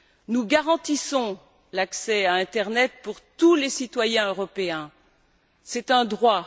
Nous garantissons l'accès à l'internet pour tous les citoyens européens, c'est un droit.